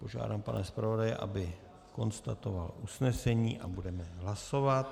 Požádám pana zpravodaje, aby konstatoval usnesení, a budeme hlasovat.